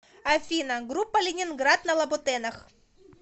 афина группа ленинград на лабутенах